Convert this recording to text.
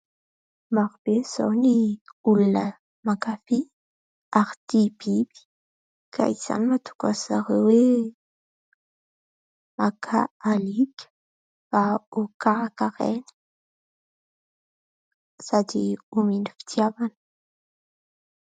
Maro be izao ny olona mankafy ary tia biby ka izany mahatonga an'ny zareo hoe maka alika mba ho karakaraina sady homena fitiavana.